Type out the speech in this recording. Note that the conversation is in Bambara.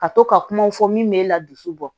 Ka to ka kumaw fɔ min bɛ la dusu bɔ